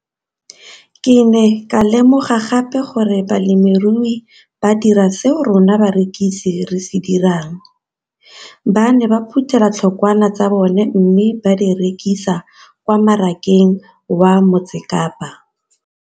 Ke ne ka lemoga gape gore balemirui ba dira seo rona barekisi re se dirang - ba ne ba phuthela ditholwana tsa bona mme ba di rekisa kwa marakeng wa Motsekapa.